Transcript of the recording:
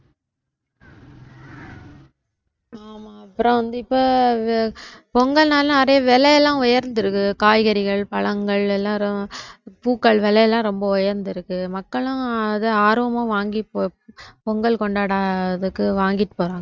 ஆஹ் அப்புறம் வந்து இப்ப பொங்கல்னால நிறைய விலையெல்லாம் உயர்ந்திருக்கு காய்கறிகள் பழங்கள் எல்லாரும் பூக்கள் விலையெல்லாம் ரொம்ப உயர்ந்திருக்கு மக்களும் அத ஆர்வமா வாங்கி பொங்கல் கொண்டாட அதுக்கு வாங்கிட்டு போறாங்க